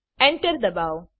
enter દબાવો